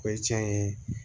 O ye tiɲɛ ye